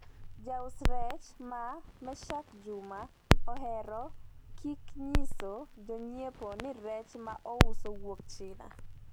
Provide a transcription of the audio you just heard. Jauso rech ma Mechak Juma ohero kik nyiso jonyiepo ni rech ma ouso wuok China.